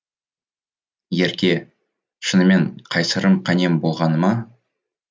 ерке шынымен қайсарым қанем болғаны ма